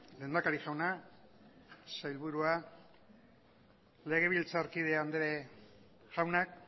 lehendakari jauna sailburua legebiltzarkide andre jaunak